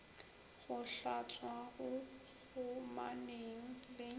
go hlatswa go kgomaneng le